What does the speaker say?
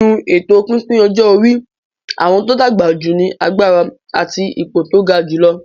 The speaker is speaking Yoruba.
Nínú èto pípín ọjọ́ orí, àwọn tó dàgbà jù ní agbára àti ipò tó ga jùlọ.